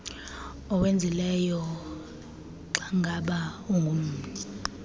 owenzileyo xangaba ungummi